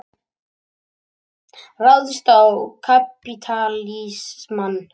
Ráðist á kapítalismann.